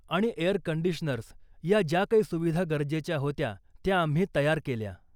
आणि air conditioners या ज्या काही सुविधा गरजेच्या होत्या त्या आम्ही तयार केल्या.